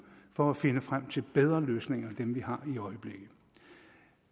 for at finde frem til bedre løsninger end dem vi har